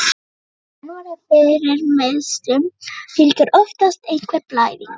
Þegar menn verða fyrir meiðslum, fylgir oftast einhver blæðing.